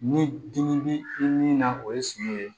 Ni dimi bi i ni na o ye suman ye